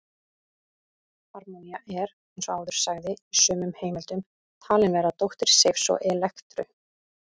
Harmonía er, eins og áður sagði, í sumum heimildum talin vera dóttir Seifs og Elektru.